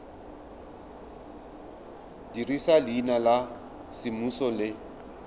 dirisa leina la semmuso le